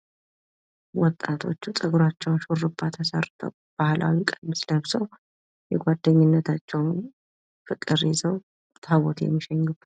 ወጣቶቹ ጸጉራቸውን ሹርባ ተሰርተው ባህላዊ ቀሚስ ለብሰው የጓደኝነታቸውን ፍቅር ይዘው ታቦት እየሸኙ ነው።